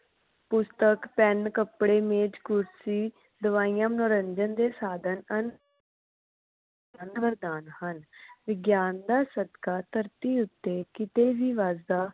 ਪੁਸਤਕ ਪੈਣ ਕੱਪੜੇ ਮੇਜ ਕੁਰਸੀ ਦਵਾਈਆਂ ਮਨੋਰੰਜਨ ਦੇ ਸਾਧਨ ਹਨ। ਅੰਦਰ ਦਾਨ ਹਨ ਵਿਗਿਆਨ ਦਾ ਸਦਕਾ ਧਰਤੀ ਉੱਤੇ ਕਿਸੇ ਵੀ ਬਸ ਦਾ